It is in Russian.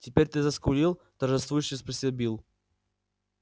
теперь ты заскулил торжествующе спросил билл